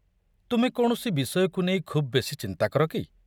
ତୁମେ କୌଣସି ବିଷୟକୁ ନେଇ ଖୁବ୍ ବେଶି ଚିନ୍ତା କର କି?